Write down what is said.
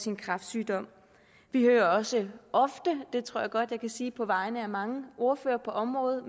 en kræftsygdom vi hører også ofte det tror jeg godt at jeg kan sige på vegne af mange ordførere på området